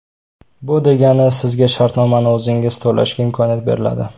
Bu degani sizga ishlab shartnomani o‘zingiz to‘lashga imkoniyat beriladi.